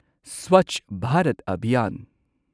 Swachh Bharat Abhiyan